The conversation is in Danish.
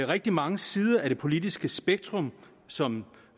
rigtig mange sider af det politiske spektrum som